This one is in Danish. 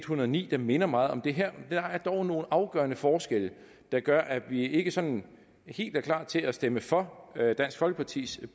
hundrede og ni der minder meget om det her der er dog nogle afgørende forskelle der gør at vi ikke sådan helt er klar til at stemme for dansk folkepartis